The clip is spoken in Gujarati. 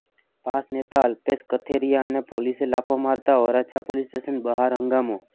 પાસ નેતા અલ્પેશ કથીરિયા અને પોલીસે લાફો મારતા વરાછા પોલીસ સ્ટેશન બહાર હંગામો